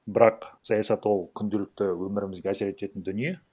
бірақ саясат ол күнделікті өмірімізге әсер ететін дүние